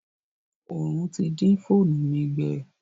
Òòrùn ti dín fóònù mi gbẹ.